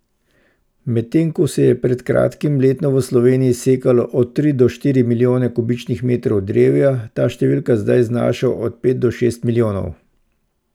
Medtem ko se je pred kratkim letno v Sloveniji sekalo od tri do štiri milijone kubičnih metrov drevja, ta številka zdaj znaša od pet do šest milijonov.